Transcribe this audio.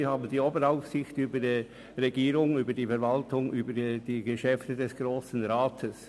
Sie hat die Oberaufsicht über die Regierung, über die Verwaltung und über die Geschäfte des Grossen Rats.